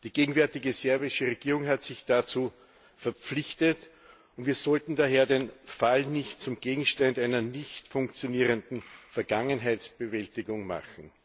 Die gegenwärtige serbische Regierung hat sich dazu verpflichtet, und wir sollten daher diesen Fall nicht zum Gegenstand einer nicht funktionierenden Vergangenheitsbewältigung machen.